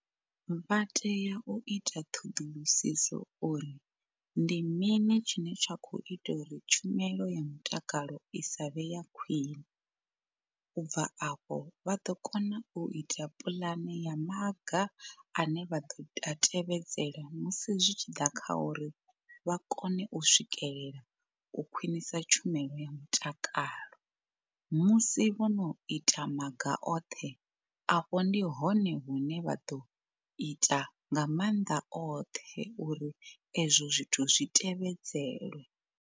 Vha tea u ita ṱhoḓulusiso uri ndi mini tshine tsha kho ita uri tshumelo ya mutakalo i sa vhe ya khwine. U bva afho vha ḓo kona u ita puḽane ya maga ane vha ḓo a tevhedzela musi zwi tshi ḓa kha uri vha kone u swikelela u khwinisa tshumelo ya mutakalo. Musi vhono ita maga oṱhe afho ndi hone hune vha ḓo ita nga maanḓa oṱhe uri ezwo zwithu zwi tevhedzele.